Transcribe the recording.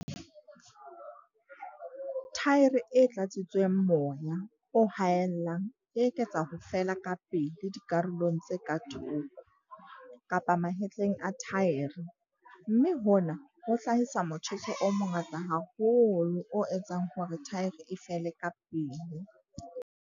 Thaere e tlatsitsweng moya o haellang e eketsa ho fela kapele dikarolong tse ka thoko, kapa mahetleng a thaere, mme hona ho hlahisa motjheso o mongata haholo o etsang hore thaere e fele kapele.